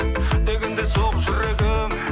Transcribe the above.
дегенде соғып жүрегім